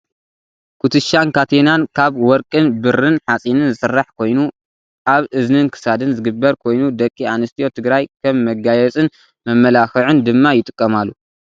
ኩትሻን ካቴናን ካብ ወርቅን ብርን ሓፂንን ዝስራሕ ኮይኑ ኣብ እዝኒን ክሳድን ዝግበር ኮይኑ ደቂ ኣንስትዮ ትግራይ ከም መጋየፂን መመላክዕን ድማ ይጥቀማሉ።